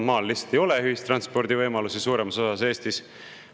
Maal lihtsalt ei ole ühistranspordivõimalusi suuremas osas Eestis.